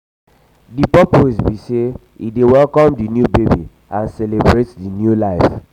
di purpose be say e dey welcome di new baby and celebrate di new life.